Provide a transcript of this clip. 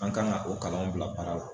An kan ka o kalanw bila baara la